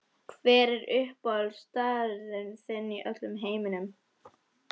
Hver er uppáhaldsstaður þinn í öllum heiminum?